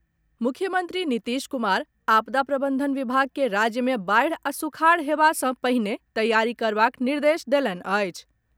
मुख्यमंत्री नीतीश कुमार आपदा प्रबंधन विभाग के राज्य मे बाढ़ि आ सुखाड़ हेबा सँ पहिने तैयारी करबाक निर्देश देलनि अछि।